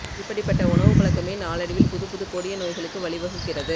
இப்படிப்பட்ட உணவுப் பழக்கமே நாளடைவில் புதுப்புது கொடிய நோய்களுக்கு வழி வகுக்கிறது